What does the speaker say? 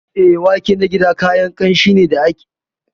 Eh, wake na gida kayan kanshi ne ko kayan yaji da ake amfani da su a cikin miya.